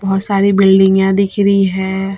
बहुत सारी बिल्डिंगयां दिख रही हैं।